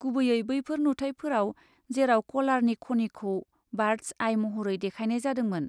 गुबैयै बैफोर नुथायफोराव जेराव कलारनि खनिखौ बार्दस आइ महरै देखायनाय जादोंमोन।